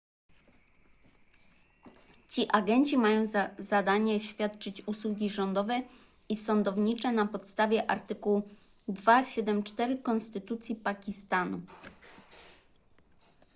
ci agenci mają za zadanie świadczyć usługi rządowe i sądownicze na podstawie artykułu 247 konstytucji pakistanu